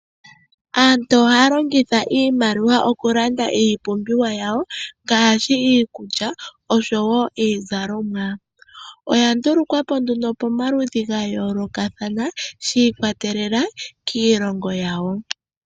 Aantu ohaya longitha iimaliwa oku landa iipumbiwa yawo ngaashi iikulya osho wo iizalomwa. oya nduluKwapo nduno pa maludhi ga yooloka thana, sha ikwa telela kiilongo yawo.